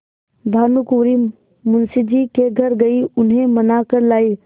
भानुकुँवरि मुंशी जी के घर गयी उन्हें मना कर लायीं